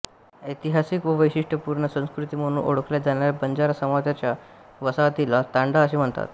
ऐतिहासिक व वैशिष्ट्यपूर्ण संस्कृती म्हणून ओळखल्या जाणाऱ्या बंजारा समाजाच्या वसाहतीला तांडा असे म्हणतात